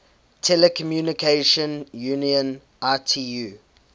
telecommunication union itu